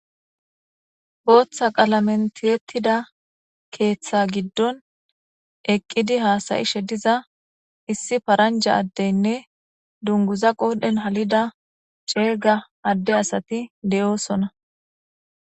Botha qalamen tiyetida ketha gidon eqidi hasayishe diza yparanja adeyinne ding qodhen halida ade asati de'osona